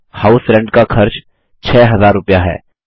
ध्यान दें house rent का खर्च 6000 रुपया है